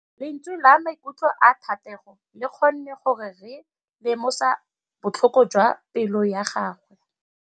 Lentswe la maikutlo a Thategô le kgonne gore re lemosa botlhoko jwa pelô ya gagwe.